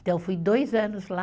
Então, eu fui dois anos lá.